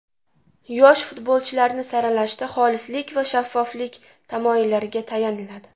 Yosh futbolchilarni saralashda xolislik va shaffoflik tamoyillariga tayaniladi.